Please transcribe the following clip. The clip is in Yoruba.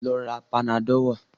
Lọ ra Panadọ́ọ̀ wá!